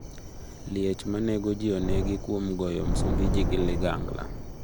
Liech manek ji onegi kuom goyo Msumbuji gi ligangla